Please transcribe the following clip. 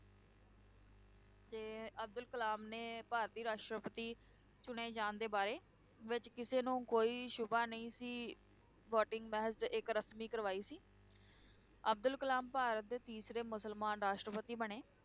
ਤੇ ਅਬਦੁਲ ਕਲਾਮ ਦੇ ਭਾਰਤੀ ਰਾਸ਼ਟਰਪਤੀ ਚੁਣੇ ਜਾਣ ਦੇ ਬਾਰੇ ਵਿੱਚ ਕਿਸੇ ਨੂੰ ਕੋਈ ਸ਼ੁਬਾ ਨਹੀਂ ਸੀ voting ਮਹਿਜ਼ ਇੱਕ ਰਸਮੀ ਕਾਰਵਾਈ ਸੀ ਅਬਦੁਲ ਕਲਾਮ ਭਾਰਤ ਦੇ ਤੀਸਰੇ ਮੁਸਲਮਾਨ ਰਾਸ਼ਟਰਪਤੀ ਬਣੇ।